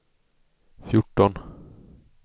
fjorton